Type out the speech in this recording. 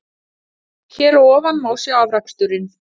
Hér að ofan má sjá afraksturinn.